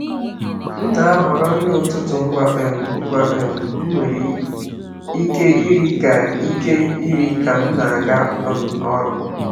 M na-ahọrọ nri ụtụtụ ngwa um ngwa um m nwere ike iri ka ike iri ka m na-aga um ọrụ.